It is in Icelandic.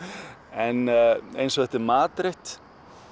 en eins og þetta er matreitt